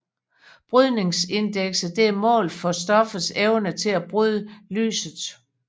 Brydningsindekset er et mål for stoffets evne til at bryde lyset